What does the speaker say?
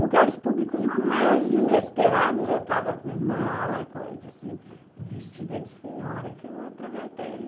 Lugares públicos mais inesperados, eu estava com mala, coisa assim, vestida de senhora, que eu aproveitei.